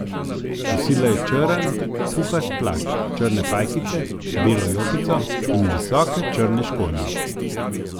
Nosila je črn puhast plašč, črne pajkice, belo jopico in visoke črne škornje.